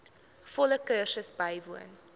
volle kursus bywoon